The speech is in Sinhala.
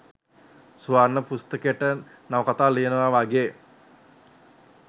ස්වර්ණ පුස්තකයට නවකතා ලියනවා වගේ